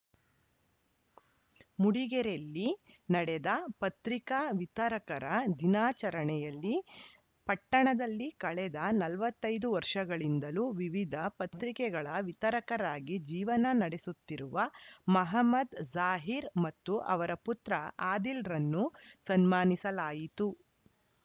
ಮೂಡಿಗೆರೆಲ್ಲಿ ನಡೆದ ಪತ್ರಿಕಾ ವಿತರಕರ ದಿನಾಚರಣೆಯಲ್ಲಿ ಪಟ್ಟಣದಲ್ಲಿ ಕಳೆದ ನಲವತ್ತ್ ಐದು ವರ್ಷಗಳಿಂದಲೂ ವಿವಿಧ ಪತ್ರಿಕೆಗಳ ವಿತರಕರಾಗಿ ಜೀವನ ನಡೆಸುತ್ತಿರುವ ಮಹಮ್ಮದ್‌ ಜಾಹೀರ್‌ ಮತ್ತು ಅವರ ಪುತ್ರ ಆದೀಲ್‌ರನ್ನು ಸನ್ಮಾನಿಸಿಲಾಯಿತು